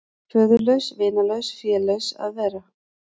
Föðurlaus, vinalaus, félaus að vera.